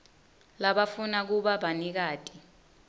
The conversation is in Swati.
labafuna kuba banikati